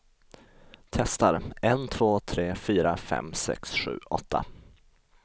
Testar en två tre fyra fem sex sju åtta.